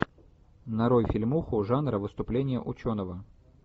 нарой фильмуху жанра выступление ученого